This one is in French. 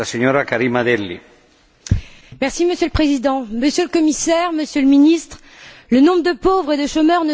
Monsieur le Président, Monsieur le Commissaire, Monsieur le Ministre, le nombre de pauvres et de chômeurs ne cesse d'augmenter au sein de l'Union européenne.